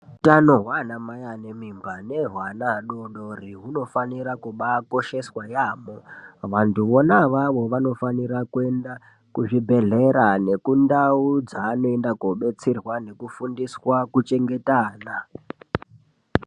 Utano hwaanamai ane mimba nehweana adodori hunofanira kubaakosheswa yaamho. Vantu vona avavo vanofanira kuenda, kuzvibhedhlera nekundau dzaanoenda koobetserwa nekufundiswa kuchengeta ana.